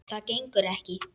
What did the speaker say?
Það gengur ekki.